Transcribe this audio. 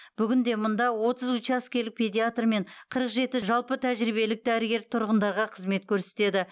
бүгінде мұнда отыз учаскелік педиатр мен қырық жеті жалпы тәжірибелік дәрігер тұрғындарға қызмет көрсетеді